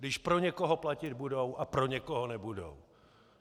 Když pro někoho platit budou a pro někoho nebudou.